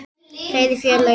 Kæri félagi.